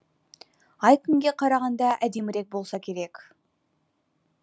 ай күнге қарағанда әдемірек болса керек